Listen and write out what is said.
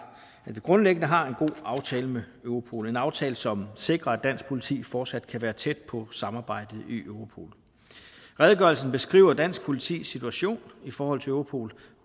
vi grundlæggende har en god aftale med europol en aftale som sikrer at dansk politi fortsat kan være tæt på samarbejdet i europol redegørelsen beskriver dansk politis situation i forhold til europol